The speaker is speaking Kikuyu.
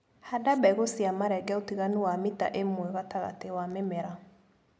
Handa mbegũ cia marenge ũtiganu wa mita ĩmwe gatagatĩ wa mĩmera.